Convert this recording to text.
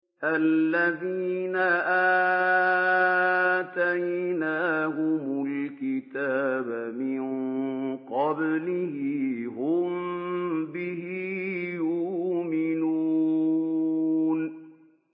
الَّذِينَ آتَيْنَاهُمُ الْكِتَابَ مِن قَبْلِهِ هُم بِهِ يُؤْمِنُونَ